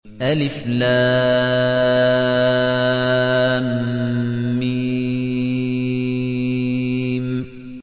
الم